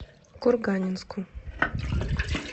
курганинску